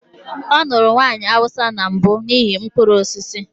Ọ lụrụ nwanyị Hausa na mbụ n'ihi mkpụrụ osisi.